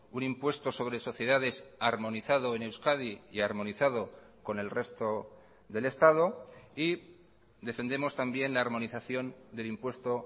un impuesto sobre sociedades armonizado en euskadi y armonizado con el resto del estado y defendemos también la armonización del impuesto